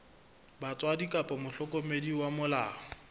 batswadi kapa mohlokomedi wa molao